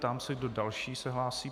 Ptám se, kdo další se hlásí.